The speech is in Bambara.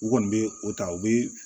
U kɔni bɛ o ta u bɛ